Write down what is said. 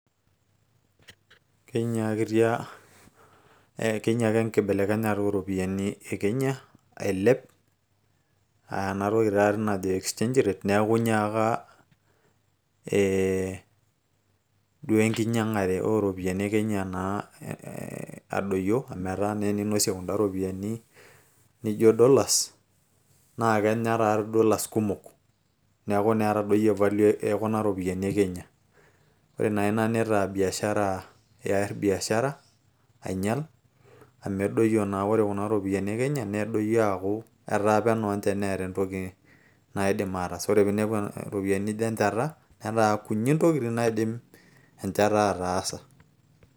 kenyiakitia kenyiaka enkibelekenyata ooropiyiani e kenya ailep aa enatoki taati najo exchange rate neeku inyiaka ee duo enkinyiang'are ooropiyiani e kenya naa ee adoyio amu etaa naa teninosie kunda ropiyiani ninjo dollars naa kenya taati dollars kumok neeku naa etadoyie value e kuna ropiyiani e kenya ore naa ina nitaa biashara eer biashara ainyial amu edoyio naa ore kuna ropiyiani e kenya nedoyio aaku etaa peno ninche neeta entoki naidim ataas ore piinepu iropiyiani nijo enchata netaa kunyik intokitin naidim enchata ataasa.